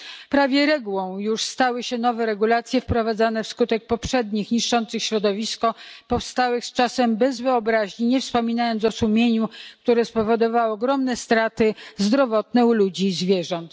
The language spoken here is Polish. Prawie regułą już stały się nowe regulacje wprowadzane wskutek poprzednich niszczących środowisko, powstałych czasem bez wyobraźni, nie wspominając o sumieniu które spowodowały ogromne straty zdrowotne u ludzi i zwierząt.